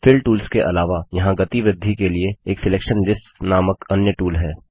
fill tools के अलावा यहाँ गति वृद्धि के लिए एक सिलेक्शन लिस्ट्स नामक अन्य टूल है